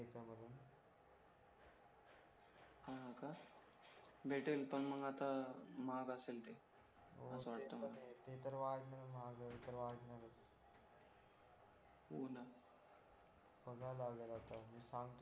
भेटीन पण मग आता महाग असेल ते हो असं वाटतं मला हो ते पण हे ते तर वाढणारच महागाई ते महागाईतर वाढणारच हो ना मी सांगतो